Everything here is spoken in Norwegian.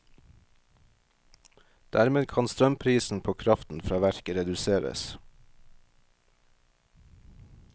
Dermed kan strømprisen på kraften fra verket reduseres.